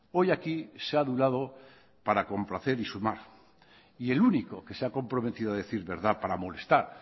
hoy aquí se ha adulado para complacer y sumar y el único que se ha comprometido a decir verdad para molestar